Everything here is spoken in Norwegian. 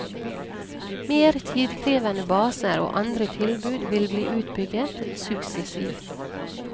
Mer tidkrevende baser og andre tilbud vil bli utbygget suksessivt.